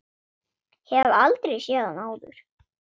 Hefur aldrei séð hann áður.